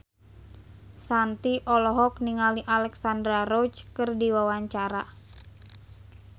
Shanti olohok ningali Alexandra Roach keur diwawancara